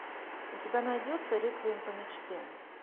у тебя найдется реквием по мечте